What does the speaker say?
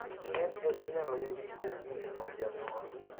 NA inyalo yudi kowuok kuom janyuol